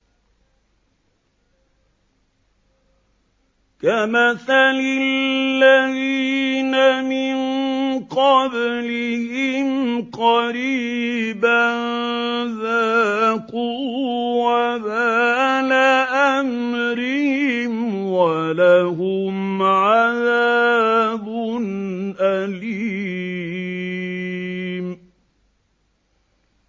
كَمَثَلِ الَّذِينَ مِن قَبْلِهِمْ قَرِيبًا ۖ ذَاقُوا وَبَالَ أَمْرِهِمْ وَلَهُمْ عَذَابٌ أَلِيمٌ